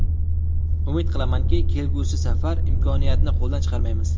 Umid qilamanki, kelgusi safar imkoniyatni qo‘ldan chiqarmaymiz.